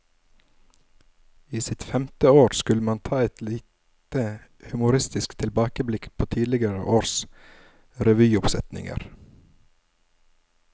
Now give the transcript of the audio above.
I sitt femte år skulle man ta et lite humoristisk tilbakeblikk på tidligere års revyoppsetninger.